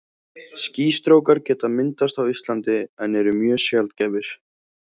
Skýstrókar geta myndast á Íslandi en eru mjög sjaldgæfir.